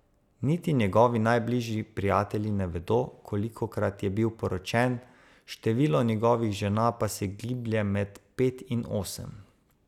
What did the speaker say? Niti njegovi najbližji prijatelji ne vedo, kolikokrat je bil poročen, število njegovih žena pa se giblje med pet in osem.